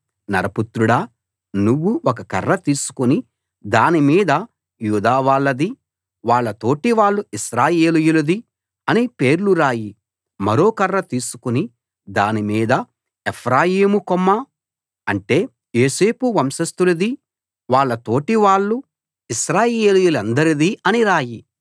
నరపుత్రుడా నువ్వు ఒక కర్ర తీసుకుని దాని మీద యూదావాళ్ళదీ వాళ్ళ తోటివాళ్ళు ఇశ్రాయేలీయులదీ అని పేర్లు రాయి మరో కర్ర తీసుకుని దాని మీద ఎఫ్రాయిము కొమ్మ అంటే యోసేపు వంశస్థులదీ వాళ్ళ తోటి వాళ్ళు ఇశ్రాయేలీయులందరిదీ అని రాయి